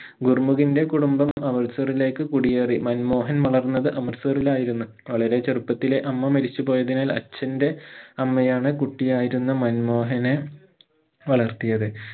ഗുർമുഖിന്റെ കുടുംബം അമ്രിറ്റ്സറിലേക്ക് കുടിയേറി മൻമോഹൻ വളർന്നത് അമ്രിറ്റ്സറിലായിരുന്നു വളരെ ചെറുപ്പത്തിലേ അമ്മ മരിച്ചു പോയതിനാൽ അച്ഛന്റെ അമ്മയാണ് കുട്ടിയായിരുന്ന മൻമോഹനെ വളർത്തിയത്